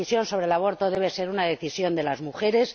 La decisión sobre el aborto debe ser una decisión de las mujeres.